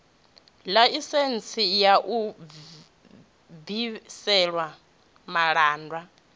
ḽaisentsi ya u bvisela malaṱwa